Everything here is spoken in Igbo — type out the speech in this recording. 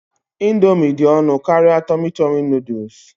Ị̀ndómị́ dị ọnụ karịa Tọmi Tọmi Nụ́dúls